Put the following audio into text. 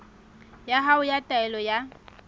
ya hao ya taelo ya